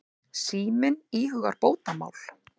Síminn íhugar bótamál.